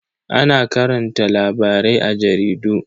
Ana karanta labarai a jaridu.